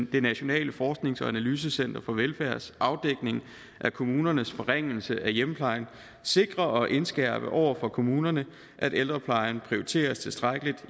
det nationale forsknings og analysecenter for velfærds afdækning af kommunernes forringelse af hjemmeplejen sikre og indskærpe over for kommunerne at ældreplejen prioriteres tilstrækkeligt